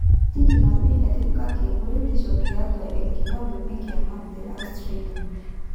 Tindi napi etipika enkuretisho tiatua enkilabu enkiyama te Australia.